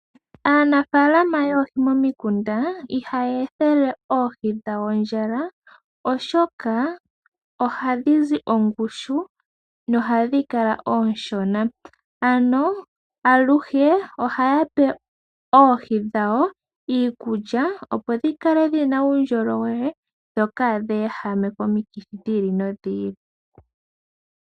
Aanafaalama yoohi momikunda ihayi ethele oohi dhawo ondjala, oshoka ohadhi zi ongushu nohadhi kala oonshona, ano aluhe ohaya pe oohi dhawo iikulya, opo dhi kale dhina uundjolowele dho kaadhi ehame komikithi dhi ili nodhi ili.